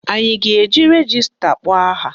Anyị a ga-eji rejista kpọọ aha?